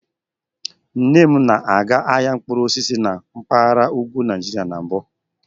Nne m na-aga ahịa mkpụrụ osisi na mpaghara ugwu Nigeria na mbụ.